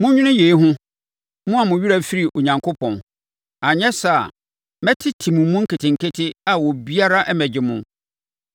“Monnwene yei ho, mo a mo werɛ firi Onyankopɔn, anyɛ saa a, mɛtete mo mu nketenkete a obiara mmɛgye mo;